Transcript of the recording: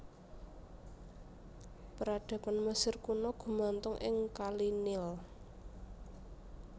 Peradaban Mesir Kuna gumantung ing kali Nil